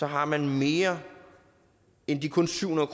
har man mere end de kun syv hundrede